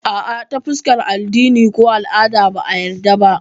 Ah ah, ta fuskar addini ko al'ada ba a yadda ba